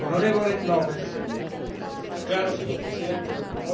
Señor Presidente, claro, no he escuchado ninguna pregunta porque no la ha habido.